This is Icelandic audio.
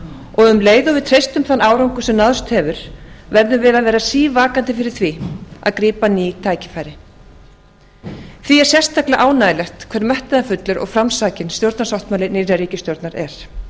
og um leið og við treystum þann árangur sem náðst hefur verðum við að vera sívakandi fyrir því að grípa ný tækifæri því er sérstaklega ánægjulegt hve metnaðarfullur og framsækinn stjórnarsáttmáli nýrrar ríkisstjórnar er